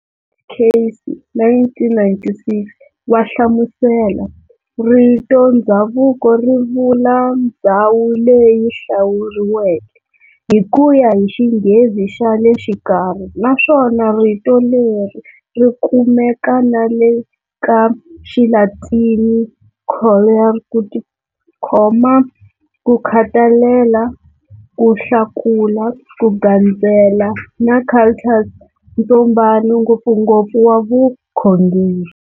Casey, 1996, wahlamusela-"Rito"ndzhavuko" rivula"ndzhawu leyi hlakuriweke" hikuya hi xinghezi xale xikarhi, naswona rito leri rikumeka nale ka xiLatini"colere","kutikhoma, kukhatalela, kuhlakula, kugandzela" na"cultus","ntsombano, ngopfungopfu wa vukhongeri."